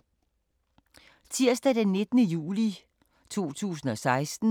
Tirsdag d. 19. juli 2016